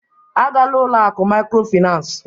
A gala n'ụlọ akụ mikrofinas!